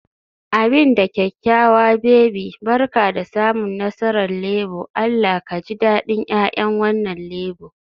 Abin da kyakkyawa baby, Barka da samun nasarar Labour, Allah ka ji dadin 'ya'yan wannan Labour